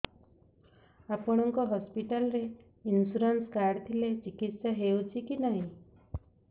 ଆପଣଙ୍କ ହସ୍ପିଟାଲ ରେ insurance card ଥିଲେ ଚିକିତ୍ସା ହେଉଛି କି ନାଇଁ